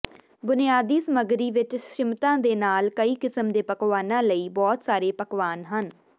ਬੁਨਿਆਦੀ ਸਮੱਗਰੀ ਵਿੱਚ ਸ਼ਿਮਂਟਾਂ ਦੇ ਨਾਲ ਕਈ ਕਿਸਮ ਦੇ ਪਕਵਾਨਾਂ ਲਈ ਬਹੁਤ ਸਾਰੇ ਪਕਵਾਨਾ ਹਨ